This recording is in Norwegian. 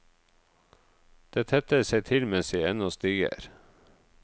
Det tetter seg til mens jeg ennå stiger.